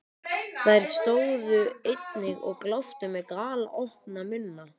Þær stóðu einnig og gláptu með galopna munna.